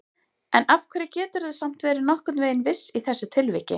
En af hverju geturðu samt verið nokkurn veginn viss í þessu tilviki?